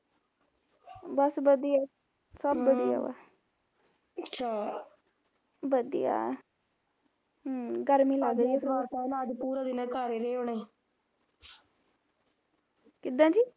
ਬਸ ਵਧੀਆ ਅਮ ਵਧੀਆ ਹਮ ਗਰਮੀ ਲੱਗ ਰਹੀ ਐ ਕਿੱਦਾਂ ਜੀ